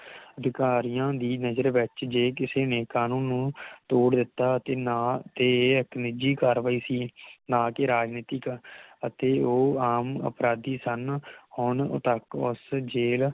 ਅਧਿਕਾਰੀਆਂ ਦੀ ਨਜ਼ਰ ਵਿਚ ਜੇ ਕਿਸੇ ਨੇ ਕਾਨੂੰਨ ਨੂੰ ਤੋੜ ਦਿਤਾ ਅਤੇ ਨਾ ਤੇ ਇਕ ਨਿਜੀ ਕਾਰਵਾਈ ਸੀ ਨਾ ਕਿ ਰਾਜਨੀਤਿਕ ਤੇ ਉਹ ਆਮ ਅਪਰਾਧੀ ਸਨ ਹੁਣ ਤਕ ਉਸ ਜੇਲ